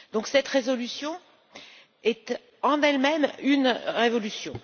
Cette résolution est, en elle même, une révolution.